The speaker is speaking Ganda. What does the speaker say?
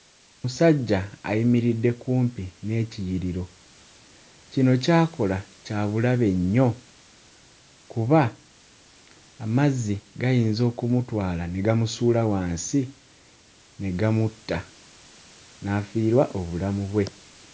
Musajja ayimiridde kumpi n'ekiyiriro. Kino ky'akola kya bulabe nnyo kuba amazzi gayinza okumutwala ne gamusuula wansi ne gamutta n'afiirwa obulamu bwe.